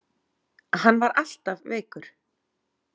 Hann var alltaf veikur.